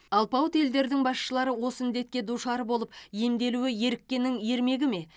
алпауыт елдердің басшылары осы індетке душар болып емделуі еріккеннің ермегі ме